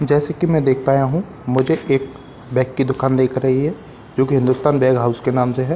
जैसे कि मैं देख पाया हूं मुझे एक बैग की दुकान दिख रही है जो कि हिंदुस्तान बैग हाउस के नाम से है।